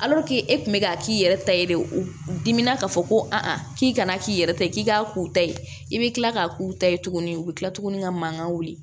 e kun bɛ k'a k'i yɛrɛ ta ye de u dimina k'a fɔ ko a k'i kana k'i yɛrɛ ta ye k'i k'a k'u ta ye i bɛ kila k'a k'u ta ye tuguni u bɛ tila tuguni ka mankan wuli